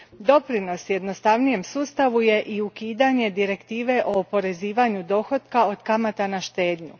Doprinos jednostavnijem sustavu je i ukidanje Direktive o oporezivanju dohotka od kamata na štednju.